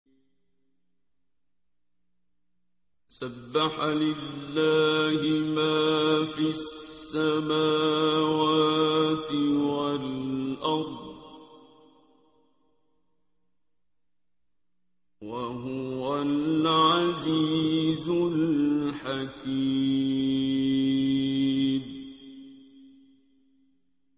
سَبَّحَ لِلَّهِ مَا فِي السَّمَاوَاتِ وَالْأَرْضِ ۖ وَهُوَ الْعَزِيزُ الْحَكِيمُ